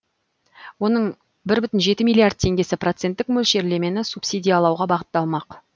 оның бір бүтін жеті миллиард теңгесі проценттік мөлшерлемені субсидиялауға бағытталмақ